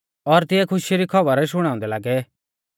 और तिऐ खुशखुशी री खौबरी शुणाउंदै लागै